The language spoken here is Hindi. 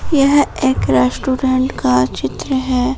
यह एक रेस्टोरेंट का चित्र है।